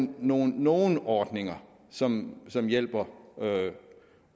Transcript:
nogle nogle ordninger som som hjælper